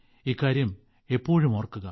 ഇക്കാര്യം എപ്പോഴും ഓർക്കുക